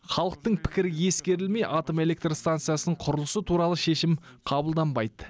халықтың пірікі ескерілмей атомэлектро станциясының құрылысы турлы шешім қабылданбайды